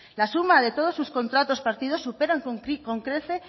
la suma de todos sus contratos partidos superan con creces